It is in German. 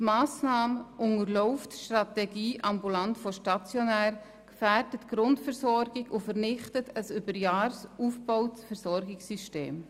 Diese Massnahme unterläuft die Strategie «ambulant vor stationär», gefährdet die Grundversorgung und vernichtet ein über Jahre aufgebautes Versorgungssystem.